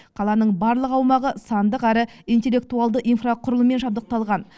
қаланың барлық аумағы сандық әрі интеллектуалды инфрақұрылыммен жабдықталған